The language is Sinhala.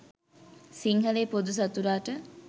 සිංහලයේ පොදු සතුරාට